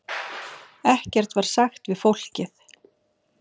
Ekkert var sagt við fólkið.